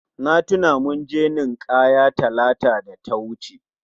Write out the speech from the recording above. Na tuna mun je nin'kaya Talata da ta wuce